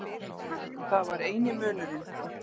Það var eini munurinn.